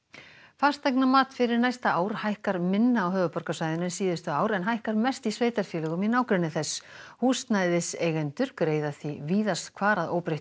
fasteignamat fyrir næsta ár hækkar minna á höfuðborgarsvæðinu en síðustu ár en hækkar mest í sveitarfélögum í nágrenni þess húsnæðiseigendur greiða því víðast hvar að óbreyttu